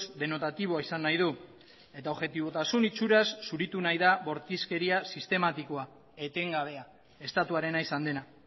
denotatiboa izan nahi du eta objetibotasun itxuraz zuritu nahi da bortizkeria sistematikoa etengabea estatuarenaizan dena